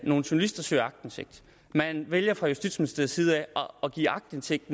nogle journalister søger aktindsigt man vælger fra justitsministeriets side at give aktindsigt